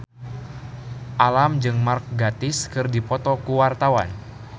Alam jeung Mark Gatiss keur dipoto ku wartawan